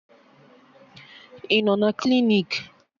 Ị nọ na klinik?